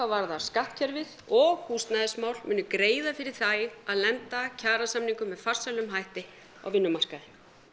varðar skattkerfið og húsnæðismál muni greiða fyrir því að lenda kjarasamningum með farsælum hætti á vinnumarkaði